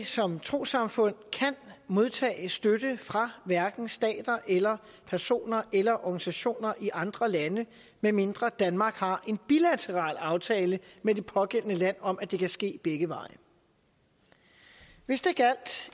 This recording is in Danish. som trossamfund ikke kan modtage støtte fra hverken stater personer eller organisationer i andre lande medmindre danmark har en bilateral aftale med det pågældende land om at det kan ske begge veje hvis det gjaldt